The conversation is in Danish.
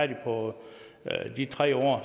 det på de tre år